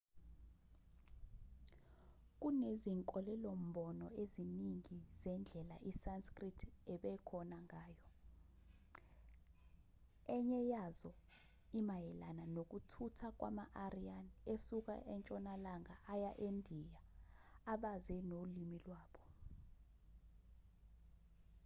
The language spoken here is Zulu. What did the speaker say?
kunezinkolelo-mbono eziningi zendlela isanskrit ebekhona ngayo enye yazo imayelana nokuthutha kwama-aryan esuka entshonalanga aya endiya abaze nolimi lwabo